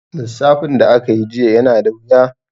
Lissafin da aka yi jiya yana da wuya.